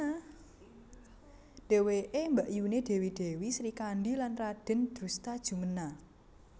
Dheweke mbakyuné Dèwi Dèwi Srikandhi lan Radèn Drustajumena